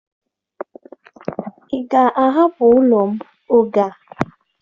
Ị ga-ahapụ ụlọ m oge a!